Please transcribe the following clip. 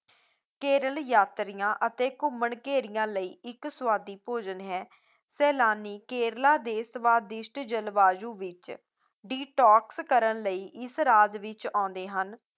ਕੇਰਲ ਯਾਤਰੀਆਂ ਅਤੇ ਘੁੰਮਣ ਘੇਰੀਆਂ ਲਈ ਇੱਕ ਸਵਾਦੀ ਭੋਜਨ ਹੈ, ਸੈਲਾਨੀ ਕੇਰਲਾ ਦੇ ਸਵਾਦਿਸ਼ਟ ਜਲਵਾਯੂ ਵਿੱਚ detox ਕਰਨ ਲਈ ਇਸ ਰਾਜ ਵਿੱਚ ਆਉਂਦੇ ਹਨ